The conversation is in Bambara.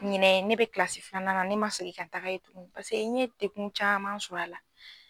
Ɲinɛ ne bɛ kilasi filanan, ne ma sefi ka taga yen tugun paseke ni ye dekun caman sɔrɔ a la.